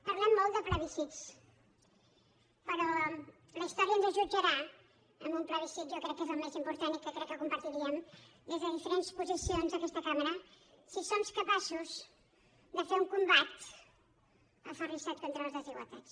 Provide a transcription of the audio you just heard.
parlem molt de plebiscits però la història ens jutjarà amb un plebiscit jo crec que és el més important i crec que ho compartiríem des de diferents posicions aquesta cambra si som capaços de fer un combat aferrissat contra les desigualtats